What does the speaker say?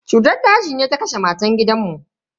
Cutar daji ne ya kashe matan gidan mu.